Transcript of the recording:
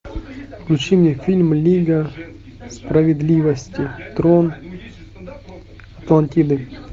включи мне фильм лига справедливости трон атлантиды